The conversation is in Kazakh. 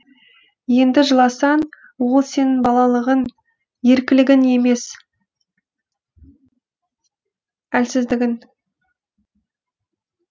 енді жыласаң ол сенің балалығын еркілігің емес әлсіздігің